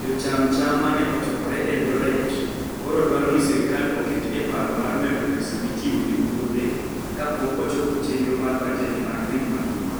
Jocham cham ma ne ochokore Eldoret koro dwaro ni sirkal oket e paro mar medo pesa michiwo ne puothe kapok ochopo chenro mar bajet mar piny mangima